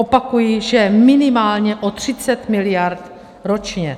Opakuji, že minimálně o 30 mld. ročně.